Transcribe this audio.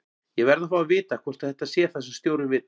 Ég verð að fá að vita hvort þetta sé það sem stjórinn vill?